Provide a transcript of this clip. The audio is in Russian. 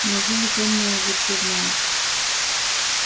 неужели тёмные уже всё знают